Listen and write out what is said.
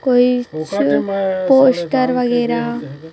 कोई छू पोस्टर वगैरा--